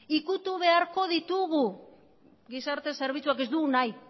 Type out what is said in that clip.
ukitu beharko ditugu gizarte zerbitzuak ez dugu nahi